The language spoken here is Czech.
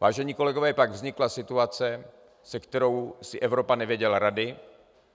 Vážení kolegové, pak vznikla situace, se kterou si Evropa nevěděla rady,